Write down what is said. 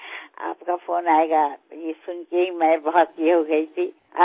আপোনাৰ ফোন আহিব এই কথা শুনিয়েইমই আনন্দিত হৈ উঠিছিলো